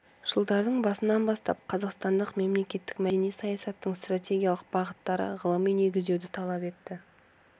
жылдардың басынан бастап қазақстандық мемлекеттік мәдени саясаттың стратегиялық бағыттары ғылыми негіздеуді талап етті